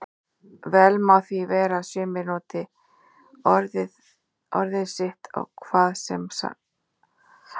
Vel má því vera að sumir noti orðin sitt á hvað sem samheiti.